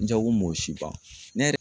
N jago m'o si ban ne yɛrɛ